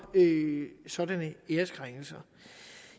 sådan æreskrænkelser